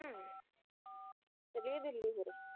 ਚੱਲੀਏ ਦਿੱਲੀ ਫਿਰ